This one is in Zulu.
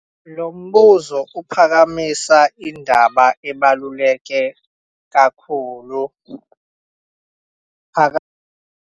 Lo mbuzo uphakamisa indaba ebaluleke kakhulu .